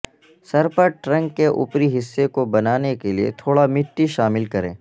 سر پر ٹرنک کے اوپری حصے کو بنانے کے لئے تھوڑا مٹی شامل کریں